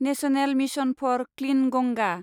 national mission for clean Ganga